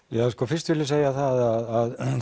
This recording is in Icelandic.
já sko fyrst vil ég segja það að